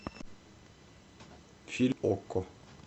фильм окко